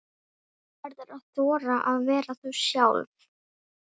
Þú verður að þora að vera þú sjálf.